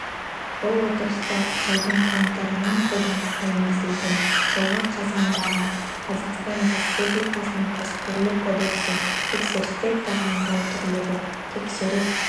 бұл отырыста жылдың қаңтарынан қолданысқа енгізілген жылғы қазандағы қазақстан республикасының кәсіпкерлік кодексі тексерістер тағайындау түрлері тексеріс